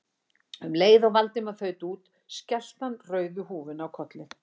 Um leið og Valdimar þaut út skellti hann rauðu húfunni á kollinn.